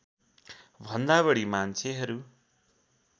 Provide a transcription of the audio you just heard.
भन्दा बढी मान्छेहरू